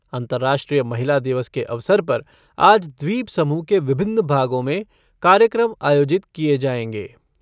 अंतर्राष्ट्रीय महिला दिवस के अवसर पर आज द्वीपसमूह के विभिन्न भागों में कार्यक्रम आयोजित किए जाएंगे।